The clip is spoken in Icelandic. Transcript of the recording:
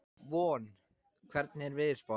Von, hvernig er veðurspáin?